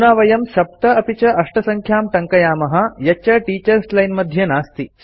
अधुना वयं ७ अपि च ८ सङ्ख्यां टङ्कयामः यच्च टीचर्स् लाइन् मध्ये नास्ति